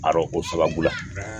ko sababu la